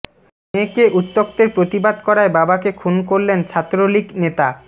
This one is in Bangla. মেয়েকে উত্ত্যক্তের প্রতিবাদ করায় বাবাকে খুন করলেন ছাত্রলীগ নেতা